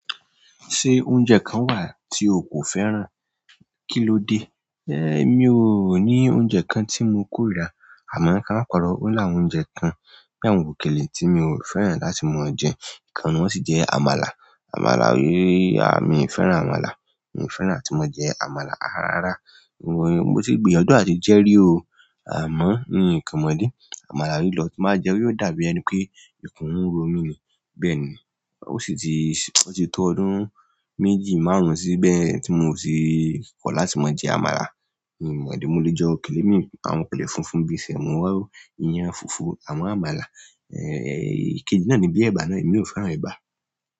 Ṣé oúnjẹ kan wà tí o kò fẹ́ràn? Kí ló dé? Emi ò ní oúnjẹ kan tí mo kórìíra. Àmọ́ ká mọmi parọ́, ó lawọn oúnjẹ kan, bí àwọn òkèlè tí mi ò fẹ́ràn láti máa jẹ. Ìkan n nu wọn sì jẹ́ àmàlà. Àmàlà, yéé, à mi fẹ́ràn àmàlà. Mi ò fẹ́ràn áti máa jẹ àmàlà. Á rárá. Mo ti gbìyànjú áti jẹ́ rí o. Àmọ́, n kan mọ́ idi, àmàlà ì lọ, tí ba jẹ, yóò dàbí ẹni pé ìkún ń ro mí ni. Bẹ́ẹ̀ni. Ó sì ti, ó ti tó ọdún méjì, márùn-ún síbẹ̀ tí mo ti kọ̀ láti máa jẹ àmàlà. Mi mọ mi idi, mo lè jẹ òkèlè mii, àwọn òkèlè funfun bí i sẹ̀mo, ìyàn funfun, àmọ́ àmàlà, ẹ́, èkejì náà ni bíi ẹ̀bà náà, èmi ò fẹ́ràn ẹ̀bà.